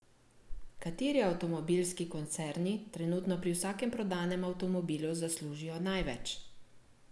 Kateri avtomobilski koncerni trenutno pri vsakem prodanem avtomobilu zaslužijo največ?